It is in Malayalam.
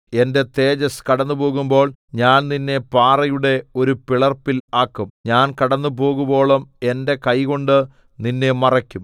എന്റെ തേജസ്സ് കടന്നുപോകുമ്പോൾ ഞാൻ നിന്നെ പാറയുടെ ഒരു പിളർപ്പിൽ ആക്കും ഞാൻ കടന്നുപോകുവോളം എന്റെ കൈകൊണ്ട് നിന്നെ മറയ്ക്കും